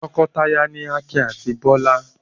Tọkọtaya ni Akin àti Bọ́lá.